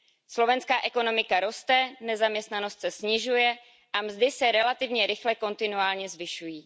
Slovenská ekonomika roste, nezaměstnanost se snižuje a mzdy se relativně rychle kontinuálně zvyšují.